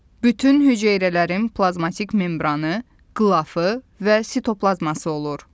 Bütün hüceyrələrin plazmatik membranı, qılafı və sitoplazması olur.